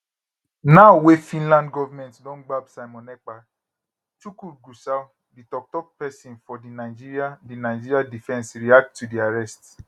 now wey finland govment don gbab simon ekpa tukur gusau di toktok pesin for di nigeria di nigeria defence react to di arrest